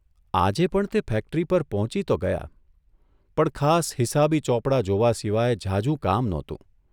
આજે પણ તે ફેક્ટરી પર પહોંચી તો ગયા, પણ ખાસ હિસાબી ચોપડા જોવા સિવાય ઝાઝું કામ નહોતું.